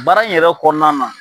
Baara in yɛrɛ kɔnɔna na